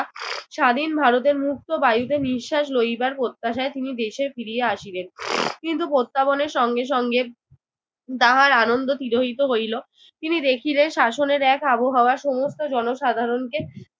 স্বাধীন ভারতের মুক্ত বায়ুতে নিঃশ্বাস লইবার প্রত্যাশায় তিনি দেশে ফিরিয়া আসিলেন। কিন্তু প্রত্যাবনের সঙ্গে সঙ্গে তাহার আনন্দ তিরোহিত হইল। তিনি দেখিলেন শাসনের এক আবহাওয়া সমস্ত জনসাধারণকে